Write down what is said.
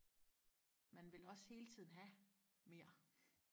man vil også hele tiden have mere